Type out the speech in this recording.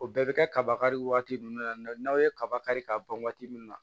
O bɛɛ bɛ kɛ kaba kari waati nun na n'aw ye kaba kari ka ban waati min na